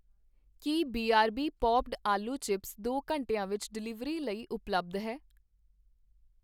ਕੀ BRB popped ਆਲੂ chips ਦੋ ਘੰਟਿਆਂ ਵਿੱਚ ਡਿਲੀਵਰੀ ਲਈ ਉਪਲੱਬਧ ਹੈ?